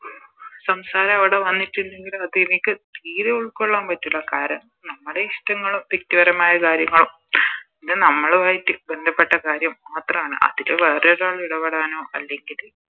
സംസാരം അവിടെ വന്നിട്ടുണ്ടെങ്കില് അതെനിക്ക് തീരെ ഉൾക്കൊള്ളാൻ പറ്റൂല കാരണം നമ്മളെ ഇഷ്ടങ്ങള് വ്യക്തി പരമായ കാര്യങ്ങള് അത് നമ്മളുമായിറ്റ് ബന്ധപ്പെട്ട കാര്യം മാത്രമാണ് അതില് വേറെ ഒരാളിടപെടനോ അല്ലെങ്കില്